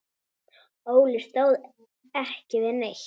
Óli stóð ekki við neitt.